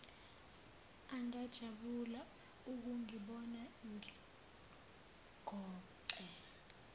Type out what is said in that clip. angajabula ukungibona ngigoqe